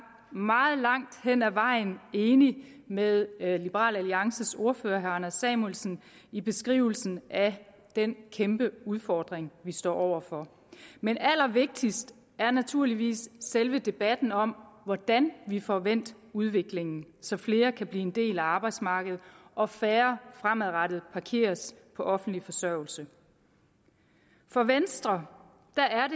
meget langt hen ad vejen enig med liberal alliances ordfører herre anders samuelsen i beskrivelsen af den kæmpe udfordring vi står over for men allervigtigst er naturligvis selve debatten om hvordan vi får vendt udviklingen så flere kan blive en del af arbejdsmarkedet og færre fremadrettet parkeres på offentlig forsørgelse for venstre